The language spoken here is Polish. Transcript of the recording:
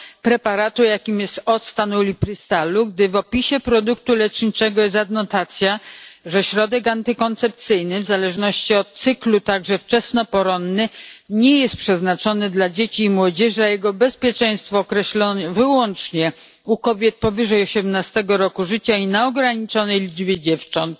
preparatu, jakim jest octan uliprystalu, podczas gdy w opisie produktu leczniczego jest adnotacja, że środek antykoncepcyjny, w zależności od cyklu także wczesnoporonny, nie jest przeznaczony dla dzieci i młodzieży, a jego bezpieczeństwo określono wyłącznie u kobiet powyżej osiemnastego roku życia i na ograniczonej liczbie dziewcząt,